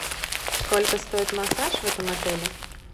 сколько стоит массаж в этом отеле